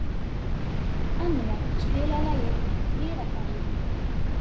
Annía, spilaðu lagið „Friðargarðurinn“.